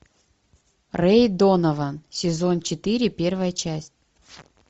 рэй донован сезон четыре первая часть